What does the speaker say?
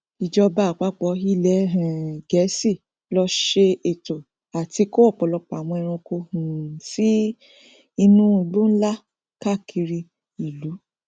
ìjọba àpápọ ilẹ um gẹẹsì ló ṣẹ ètò àti kó ọpọlọpọ àwọn ẹranko um sí inú igbó nlá káàkiri ìlú